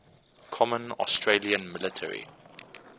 common australian military